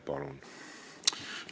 Palun!